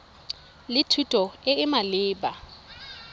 le thuto e e maleba